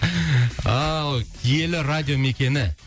ал киелі радио мекені